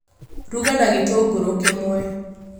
Ruga na gĩtũngũrũ kĩmwe